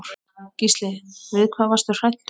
Gísli: Við hvað varstu hræddur?